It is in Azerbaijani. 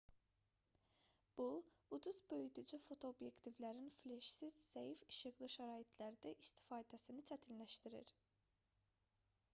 bu ucuz böyüdücü fotoobyektivlərin fleşsiz zəif işıqlı şəraitlərdə istifadəsini çətinləşdirir